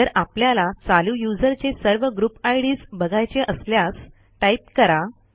जर आपल्याला चालू यूझर चे सर्व ग्रुपIDs बघायचे असल्यास टाईप करा